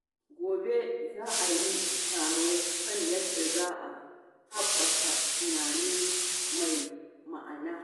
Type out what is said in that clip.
Gobe, za a yi taro kan yadda za a haɓaka tunani mai ma'ana.